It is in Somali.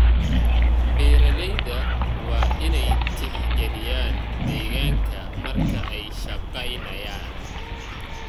Beeralayda waa in ay tixgeliyaan deegaanka marka ay shaqaynayaan.